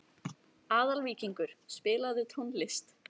Aðalvíkingur, spilaðu tónlist.